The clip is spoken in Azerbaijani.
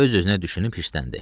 Öz-özünə düşünüb hirsləndi.